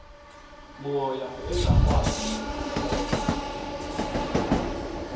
moya engakwazi nokuthetha